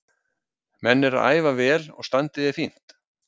Menn eru að æfa vel og standið er fínt.